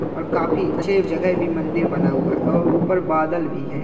और काफी अच्छे जगह भी मंदिर बना हुआ है और ऊपर बादल भी है।